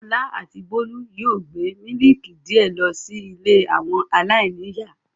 Ọlá àti Bólú yóò gbé mílíkì díẹ̀ lọ sí ilé àwọn aláìníìyá.